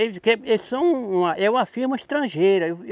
Eles que, eles são, é uma firma estrangeira.